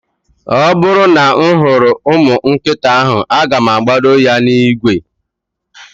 Oburu na mfuru umu nkita ahu, aga mu agbodo ya na igwe